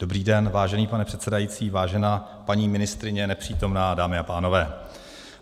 Dobrý den, vážený pane předsedající, vážená paní ministryně, nepřítomná, dámy a pánové.